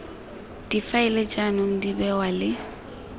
difaele jaanong di bewa le